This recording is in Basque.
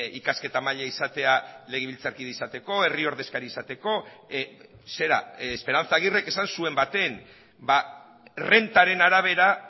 ikasketa maila izatea legebiltzarkide izateko herri ordezkari izateko zera esperanza aguirrek esan zuen baten errentaren arabera